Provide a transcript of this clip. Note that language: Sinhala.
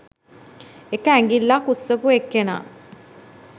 එක ඇඟිල්ලක් උස්සපු එක්කෙනා